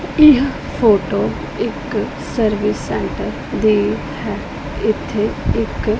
ਇਹ ਫੋਟੋ ਇੱਕ service centre ਦੀ ਹੈ ਇੱਥੇ ਇੱਕ--